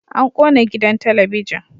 An kona gidan talabijin